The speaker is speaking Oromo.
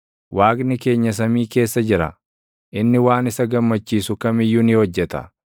Waaqni keenya samii keessa jira; inni waan isa gammachiisu kam iyyuu ni hojjeta.